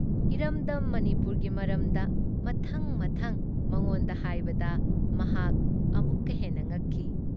ꯏꯔꯝꯗꯝ ꯃꯅꯤꯄꯨꯔꯒꯤ ꯃꯔꯝꯗ ꯃꯊꯪ-ꯃꯊꯪ ꯃꯉꯣꯟꯗ ꯍꯥꯏꯕꯗ ꯃꯍꯥꯛ ꯑꯃꯨꯛꯀ ꯍꯦꯟꯅ ꯉꯛꯈꯤ ꯫